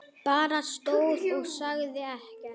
Bara stóð og sagði ekkert.